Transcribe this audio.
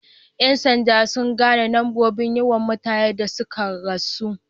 Yan sanda sun gane nombobin yawan mutane da sun ka rasu.